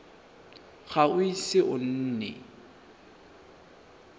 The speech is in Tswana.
ga o ise o nne